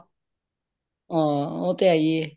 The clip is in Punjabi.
ਹਂ ਉਹ ਤੇ ਹੈ ਹੀਏ